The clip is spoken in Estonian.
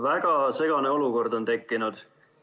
Väga segane olukord on tekkinud.